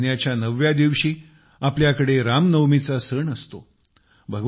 चैत्र महिन्याच्या नवव्या दिवशी आपल्याकडे रामनवमीचा सण असतो